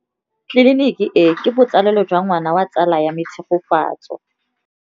Tleliniki e, ke botsalêlô jwa ngwana wa tsala ya me Tshegofatso.